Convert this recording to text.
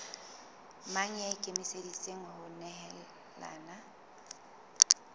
mang ya ikemiseditseng ho nehelana